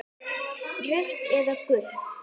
Rautt eða gult?